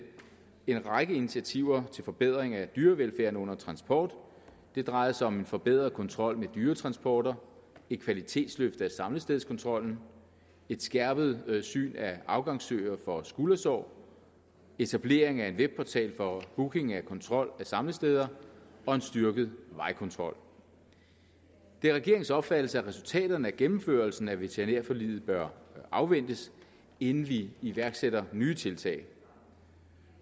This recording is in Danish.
en række initiativer til forbedring af dyrevelfærden under transport det drejede sig om en forbedret kontrol med dyretransporter et kvalitetsløft af samlestedkontrollen et skærpet tilsyn af afgangssøer for skuldersår etablering af en webportal for booking af kontrol af samlesteder og en styrket vejkontrol det er regeringens opfattelse at resultaterne af gennemførelsen af veterinærforliget bør afventes inden vi iværksætter nye tiltag